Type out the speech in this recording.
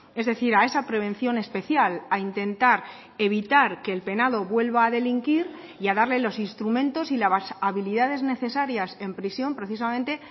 es decir a esa prevención especial a intentar evitar que el penado vuelva a delinquir y a darle los instrumentos y las habilidades necesarias en prisión precisamente